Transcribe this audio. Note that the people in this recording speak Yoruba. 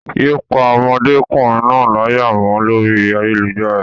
Yé pá ọmọdékùnrin náà láyà mọ́ lórí ayélujára.